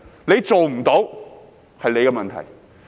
如果做不到，那是你的問題。